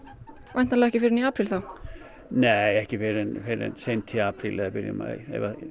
væntanlega ekki fyrr en í apríl þá nei ekki fyrr en seint í apríl eða byrjun maí